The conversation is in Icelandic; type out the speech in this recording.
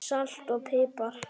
Salt og pipar